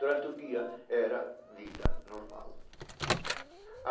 Durante o dia era vida normal.